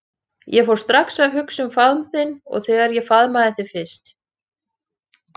Ég fór strax að hugsa um faðm þinn og þegar ég faðmaði þig fyrst.